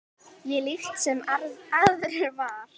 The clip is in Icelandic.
Ég líkt sem aðrir var.